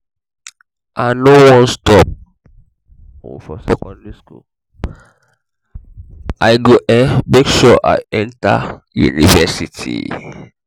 i no wan stop um for secondary school i go um make sure i enter um university